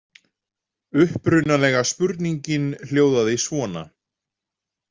Uppprunalega spurningin hljóðaði svona